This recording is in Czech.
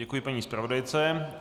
Děkuji paní zpravodajce.